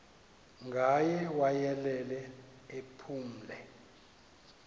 ngaye wayelele ephumle